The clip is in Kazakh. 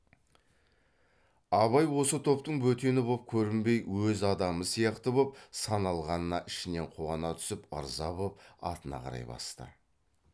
абай осы топтың бөтені боп көрінбей өз адамы сияқты боп саналғанына ішінен қуана түсіп ырза боп атына қарай басты